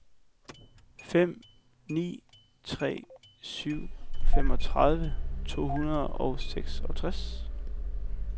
fem ni tre syv femogtredive to hundrede og seksogtres